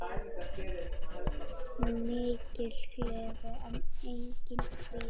Mikil gleði en einnig kvíði.